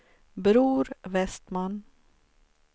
Bror Westman